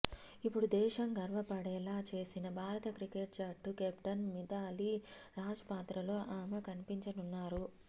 ఇప్పుడు దేశం గర్వపడేలా చేసిన భారత క్రికెట్ జట్టు కెప్టెన్ మిథాలీ రాజ్ పాత్రలో ఆమె కనిపించనున్నారు